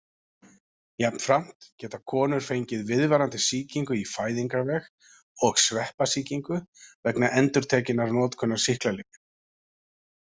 Jafnframt geta konur fengið viðvarandi sýkingu í fæðingarveg og sveppasýkingu vegna endurtekinnar notkunar sýklalyfja.